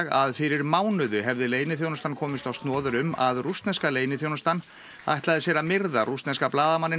að fyrir mánuði hefði leyniþjónustan komist á snoðir um að rússneska leyniþjónustan ætlaði sér að myrða rússneska blaðamanninn